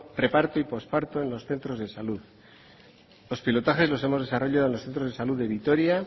preparto y posparto en los centros de salud los pilotajes los hemos desarrollado en los centros de salud de vitoria